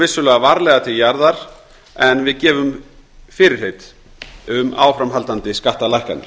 við stígum varlega til jarðar en við gefum fyrirheit um áframhaldandi skattalækkanir